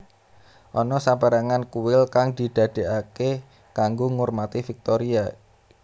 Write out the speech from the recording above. Ana saperangan kuil kang didegake kanggo ngurmati Viktoria